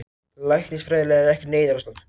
Læknisfræðilega er ekkert neyðarástand